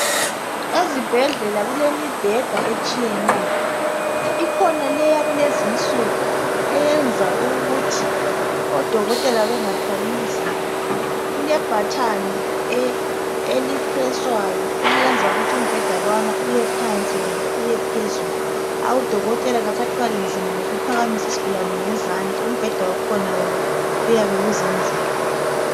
Ezibhedlela kulemibheda etshiyeneyo , ikhona le eyakulezinsuku eyenza ukuthi odokotela bengathwali nzima , kule bhathani elipreswayo eliyenza ukuthi umbheda lwana uyephansi loba uyephezulu , udokotela kasathwali nzima ngokuphakamisa isigulane ngezandla , umbheda wakhona wona uyabe uzenzela